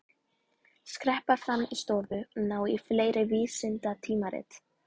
Skreppa fram í stofu og ná í fleiri vísindatímarit.